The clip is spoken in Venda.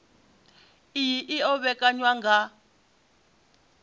iyi i o vhekanywa nga